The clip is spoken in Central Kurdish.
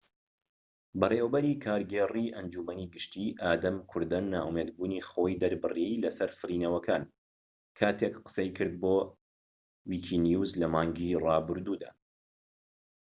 بەڕێوەبەری کارگێڕیی ئەنجومەنی گشتی ئادەم کوردەن نائومێدبوونی خۆی دەربڕی لەسەر سڕینەوەکان کاتێك قسەی کرد بۆ ویکینیوس لە مانگی ڕابردوودا